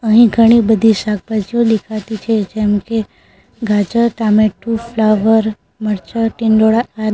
અહીં ઘણી બધી શાકભાજીઓ દેખાતી છે જેમ કે ગાજર ટામેટું ફ્લાવર મરચા ટીંડોળા આદિ.